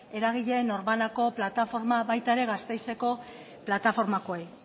eragile norbanako plataforma baita ere gasteizeko plataformakoei